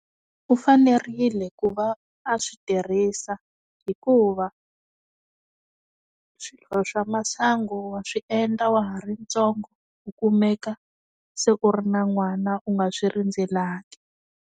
U fanerile ku va a swi tirhisa, hikuva swilo swa masangu wa swi endla wa ha ri ntsongo, u kumeka, se u ri na n'wana u nga swi rindzelangi.